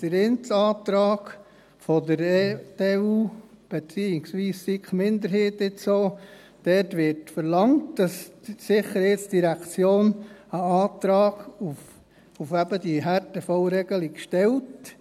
Der eine Antrag der EDU, beziehungsweise jetzt auch SiK-Minderheit: Dort wird verlangt, dass die SID einen Antrag auf eben diese Härtefallregelung stellt.